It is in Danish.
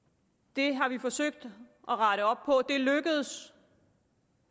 det har vi forsøgt at rette op på det lykkedes